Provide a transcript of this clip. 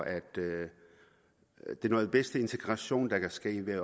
er det noget vestlig integration der kan ske ved at